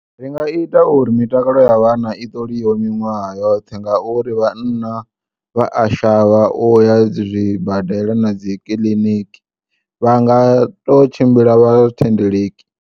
Ringa ita uri mitakalo ya vhanna i ṱoliwe miṅwaha yoṱhe ngauri vhanna vha a shavha uya zwibadela na dzikiḽiniki, vha nga to tshimbila vhathendeleki.